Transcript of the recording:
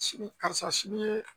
Sini karisa sini ye